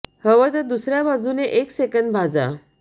हव तर दुसर्या बाजूने एक सेंकंद भाजा